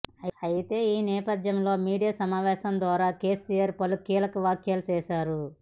అయితే ఈ నేపధ్యంలో మీడియా సమావేశం ద్వారా కేసీఆర్ పలు కీలక వ్యాఖ్యలు చేశారు